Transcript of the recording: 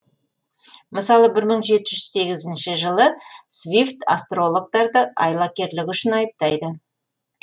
мысалы жылы свифт астрологтарды айлакерлігі үшін айыптайды